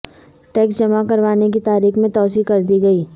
tax جمع کروانے کی تاریخ میں توسیع کردی گئی